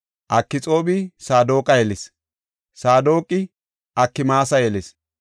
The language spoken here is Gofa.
Akxoobi Saadoqa yelis; Saadoqi Akmaasa yelis;